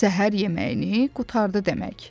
Səhər yeməyini qurtardı demək.